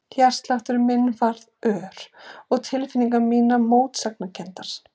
Hjartsláttur minn varð ör og tilfinningar mínar mótsagnakenndar.